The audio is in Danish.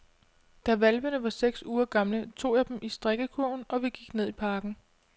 Da hvalpene var seks uger gamle, tog jeg dem i strikkekurven, og vi gik ned i parken.